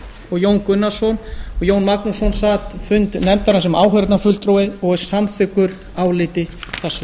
og jón gunnarsson jón magnússon sat fundi nefndarinnar sem áheyrnarfulltrúi og er samþykkur áliti þessu